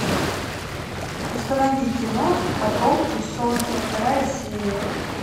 установи кино потомки солнца вторая серия